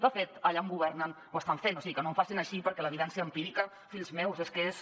de fet allà on governen ho estan fent o sigui que no em facin així perquè l’evidència empírica fills meus és que és